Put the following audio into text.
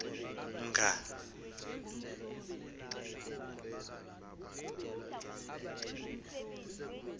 mnga